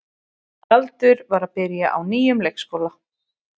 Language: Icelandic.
Galdur var að byrja á nýjum leikskóla.